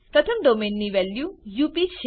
પ્રથમ ડોમેઇન ની value UP